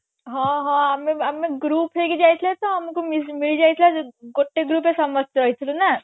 ହଁ ହଁ ଆମେ ଆମେ group ହେଇକି ଯାଇଥିଲେ ତ ଆମକୁ ମିସ ମିଳିଯାଇଥିଲା ଗୋଟେ group ରେ ସମସ୍ତେ ନା